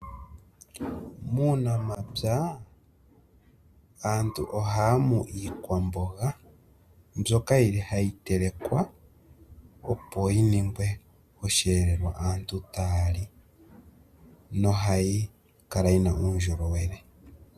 Muunamapya aantu ohaya mu iikwamboga mbyoka yili hayi telekwa opo yi ningwe oshiyelelwa aantu taya li nohayi kala yina uundjolowele.